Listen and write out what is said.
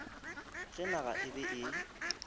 ge naga e be e